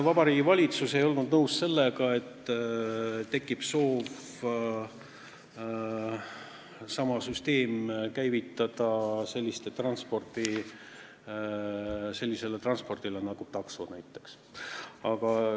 Vabariigi Valitsus ei olnud nõus sellega, et tekib soov sama süsteem käivitada sellise transpordiliigi jaoks nagu näiteks taksod.